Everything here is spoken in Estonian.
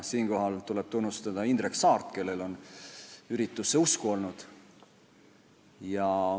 Siinkohal tuleb tunnustada Indrek Saart, kellel on üritusse usku olnud.